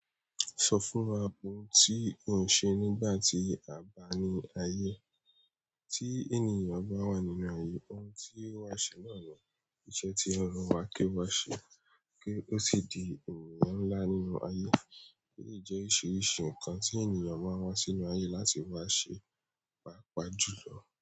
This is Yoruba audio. Sọ fún wa ohun tí o n ṣe nígbà tí a bá ní ayé. Tí ènìyàn bá wà nínú ayé, ohun tí ó wá ṣe náà ni iṣẹ́ tí Ọlọ́run wà ké wá ṣe kí ó sì di ènìyàn ńlá nínú ayé. Eleyi jẹ́ oríṣiríṣi nǹkan tí ènìyàn máa ń wá sínú ayé láti wá ṣe, pàápàá jùlọ.